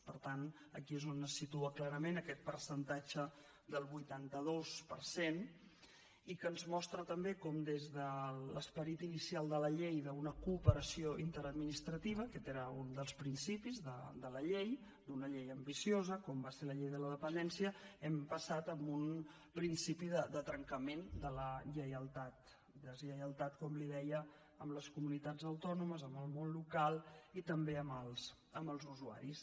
per tant aquí és on es situa clarament aquest percentatge del vuitanta dos per cent i que ens mostra també com des de l’esperit inicial de la llei d’una cooperació interadministrativa aquest era un dels principis de la llei d’una llei ambiciosa com va ser la llei de la dependència hem passat a un principi de trencament de la lleialtat deslleialtat com li deia amb les comunitats autònomes amb el món local i també amb els usuaris